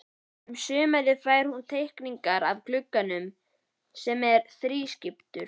Um sumarið fær hún teikningar af glugganum, sem er þrískiptur.